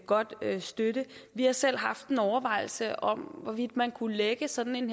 godt støtte vi har selv haft en overvejelse om hvorvidt man kunne lægge sådan en